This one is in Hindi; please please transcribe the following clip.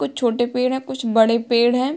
कुछ छोटे पेड़ हैं कुछ बड़े पेड़ हैं |